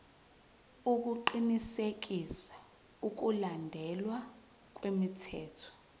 ukuqinisekisa ukulandelwa kwemithetho